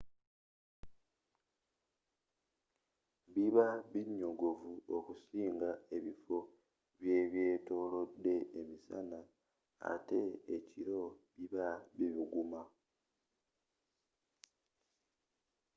biba binyogovu okusinga ebifo bye'byetolode emisana ate ekiro biba bibuguma